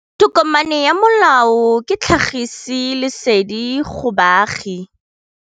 Tokomane ya molao ke tlhagisi lesedi go baagi.